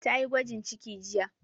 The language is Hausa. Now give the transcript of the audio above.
Ta yi gwajin ciki jiya